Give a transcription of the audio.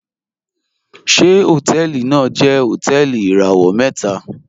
Ṣẹ̀ hotẹẹlì naa jẹ̀ hotẹẹlì irawọ̀ mẹta?